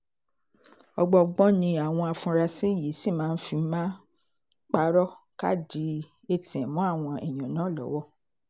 ọgbọọgbọ́n ni àwọn afurasí yìí sì fi máa ń pààrọ̀ káàdì atm mọ́ àwọn èèyàn náà lọ́wọ́